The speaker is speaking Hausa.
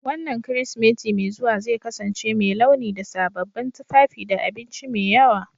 Wannan Kirsimeti mai zuwa zai kasance mai launi da sababbin tufafi da abinci mai yawa